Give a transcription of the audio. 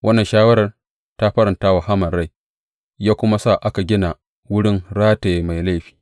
Wannan shawarar ta faranta wa Haman rai, ya kuma sa aka gina wurin rataye mai laifi.